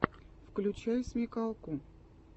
включай смекалку